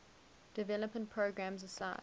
development programs aside